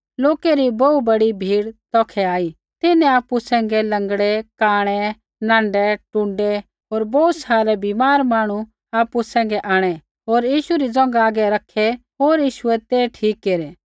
लोकै री बोहू बड़ी भीड़ तौखै आई तिन्हैं आपु सैंघै लँगड़ै कांणै नाँढै टुण्डै होर बोहू सारै बीमार मांहणु आपु सैंघै आंणै होर यीशु री ज़ोंघा हागै रखै होर यीशुऐ ते ठीक केरै